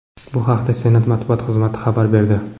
Bu haqda Senat matbuot xizmati xabar berdi .